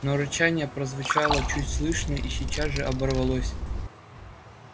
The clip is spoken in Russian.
но рычание прозвучало чуть слышно и сейчас же оборвалось